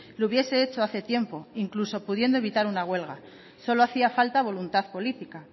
lo hubiese hecho hace tiempo incluso pudiendo evitar una huelga solo hacía falta voluntad política